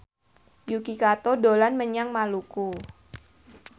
Yuki Kato dolan menyang Maluku